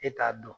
E t'a dɔn